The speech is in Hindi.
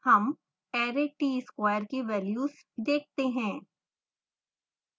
हम array tsquare की वेल्यज देखते हैं